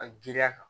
A giriya kan